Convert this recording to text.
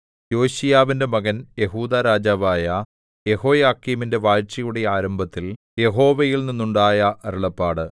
യോശീയാവിന്റെ മകൻ യെഹൂദാ രാജാവായ യെഹോയാക്കീമിന്റെ വാഴ്ചയുടെ ആരംഭത്തിൽ യഹോവയിൽ നിന്നുണ്ടായ അരുളപ്പാട്